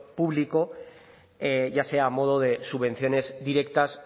público ya sea a modo de subvenciones directas